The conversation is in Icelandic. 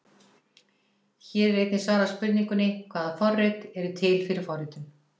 Hér er einnig svarað spurningunni: Hvaða forrit eru til fyrir forritun?